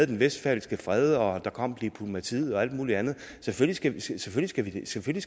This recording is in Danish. den westfalske fred og der kom diplomatiet og alt muligt andet selvfølgelig skal selvfølgelig skal vi